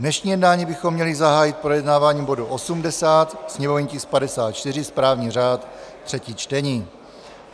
Dnešní jednání bychom měli zahájit projednáváním bodu 80, sněmovní tisk 54, správní řád, třetí čtení.